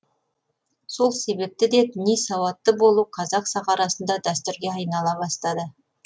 сол себепті де діни сауатты болу қазақ сахарасында дәстүрге айнала бастады